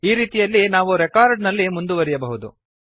ಈ ರೀತಿಯಲ್ಲಿ ನಾವು ರೆಕಾರ್ಡ್ ನಲ್ಲಿ ಮುಂದುವರೆಯಬಹುದು